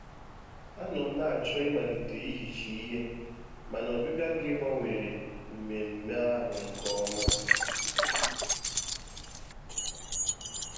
Anọ m na-achọ ịmalite ihicha ihe, mana ọbịbịa gi gbawanyere mmemme ahụ nke ọma